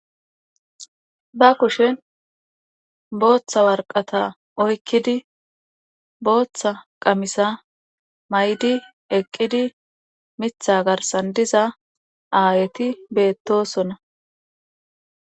Ba kushen booththa warqata oykkidi booththa qamisa may'di eqqidi mithitha garssan diza aayeti beettosona